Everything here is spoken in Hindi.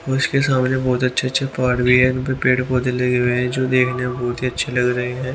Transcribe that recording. उसके सामने बहुत अच्छे-अच्छे पहाड़ भी है इन पेड़ पौधे लगे हुए हैं जो देखने में बहुत ही अच्छे लग रहे हैं।